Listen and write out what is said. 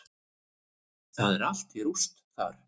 Það er allt í rúst þar.